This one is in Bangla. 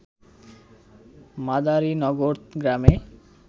মাদারিনগর গ্রামে